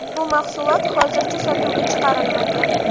Bu mahsulot hozircha sotuvga chiqarilmagan.